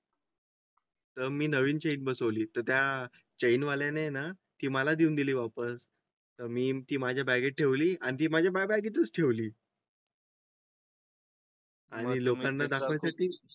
मी नवीन चेन बसवली तर त्याचे ज्ञान आहे ना की मला देऊन दिली वापस तर मी माझ्या बँकेत ठेवली आणि माझ्या बॅगे तच ठेवली. आम्ही लोकांना दाखवण्या साठी.